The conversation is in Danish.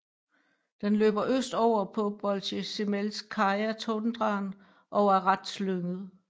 Den løber øst over på Bolsjezemelskaja Tundraen og er ret slynget